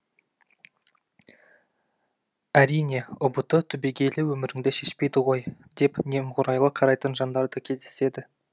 әрине ұбт түбегейлі өміріңді шешпейді ғой деп немғұрайлы қарайтын жандар да кездеседі